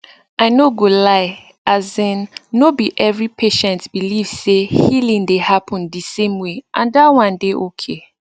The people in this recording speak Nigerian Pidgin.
i no go lie asin no be every patient believe say healing dey happen di same way and that one dey okay